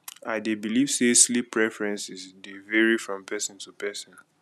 i dey believe say sleep preferences dey vary from person to person